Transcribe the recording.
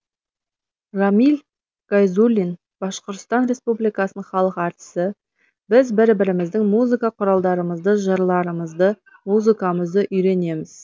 рамил гайзуллин башқұртстан республикасының халық әртісі біз бір біріміздің музыка құралдармызды жырларымызды музыкамызды үйренеміз